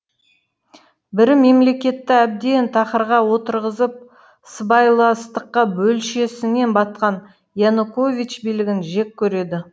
бірі мемлекетті әбден тақырға отырғызып сыбайластыққа белшесінен батқан янукович билігін жек көреді